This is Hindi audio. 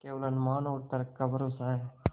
केवल अनुमान और तर्क का भरोसा है